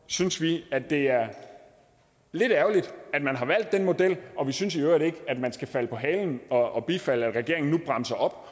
synes vi at det er lidt ærgerligt at man har valgt den model og vi synes i øvrigt ikke at man skal falde på halen og bifalde at regeringen nu bremser op